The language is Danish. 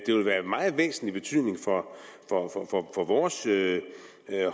det vil være af meget væsentlig betydning for vores